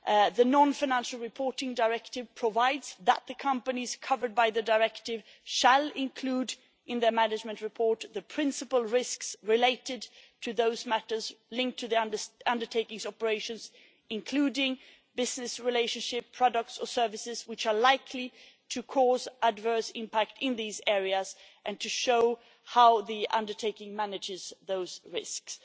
The Non financial Reporting Directive provides that the companies covered by the Directive shall include in their management report the principal risks related to those matters linked to the undertaking's operations, including business relationship, products or services which are likely to cause adverse impact in these areas and to show how the undertaking manages those risks.